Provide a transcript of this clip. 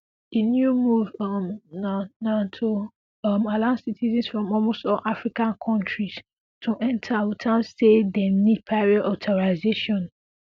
di new move um na na to um allow citizens from almost all african kontris to enta witout say dem need prior authorization